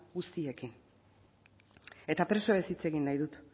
guztiekin eta presoez hitz egin nahi dut